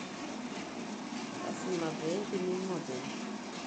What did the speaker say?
lazima pee itigingu openy